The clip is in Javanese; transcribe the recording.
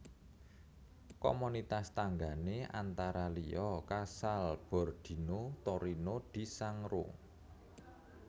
Komunitas tanggané antara liya Casalbordino Torino di Sangro